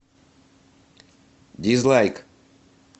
дизлайк